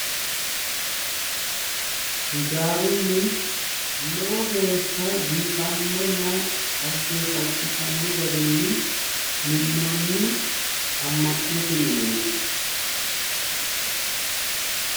ijaarunni lowo geeshsha biifannonna dhaggeeffachishanno garinni minnonni amma'note mineeti